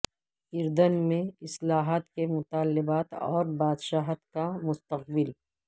اردن میں اصلاحات کے مطالبات اور بادشاہت کا مستقبل